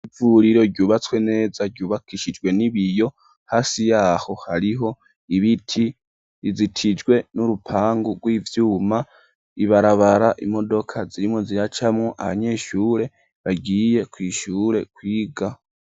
Ivuriro ryubatswe neza, ryubakishijwe n'ibiyo; hasi y'aho, hariho ibiti, rizitijwe n'urupangu rw'ivyuma; ibarabara, imodoka zirimwo ziracamwo, abanyeshure bagiye kw'ishure kwiga.